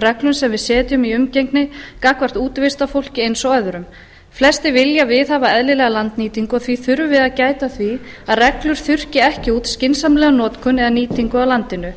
reglum sem við setjum í umgengni gagnvart útivistarfólk eins og öðrum flestir vilja viðhafa eðlilega landnýtingu og því þurfum við að gæta að því að reglur þurrki ekki út skynsamlega notkun eða nýtingu á landinu